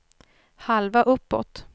halva uppåt